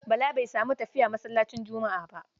Bala bai sami tafiya masallacin Juma'a.